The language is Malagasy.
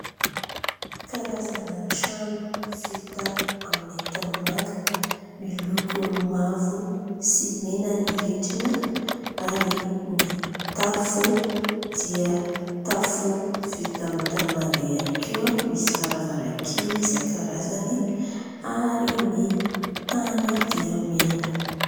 Karazana trano vita amin'ny tanimanga . Miloko mavo sy mena ny rindrina ary ny tafo dia tafo vita amin'ny tanimanga ihany koa, misy varavarankely isan- karazany ary ny tany dia mena.